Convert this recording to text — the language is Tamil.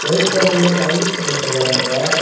ஒயிட் கலர்ல டைல்ஸ் போட்ருக்காங்க.